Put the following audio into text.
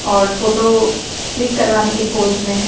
और photo click करवाने के पोज में है।